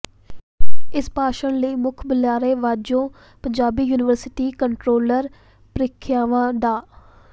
ਇਸ ਭਾਸ਼ਣ ਲਈ ਮੁੱਖ ਬੁਲਾਰੇ ਵਜੋਂ ਪੰਜਾਬੀ ਯੂਨੀਵਰਸਿਟੀ ਕੰਟਰੋਲਰ ਪ੍ਰਰੀਖਿਆਵਾਂ ਡਾ